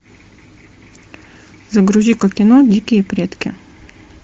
загрузи ка кино дикие предки